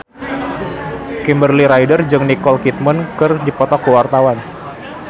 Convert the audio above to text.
Kimberly Ryder jeung Nicole Kidman keur dipoto ku wartawan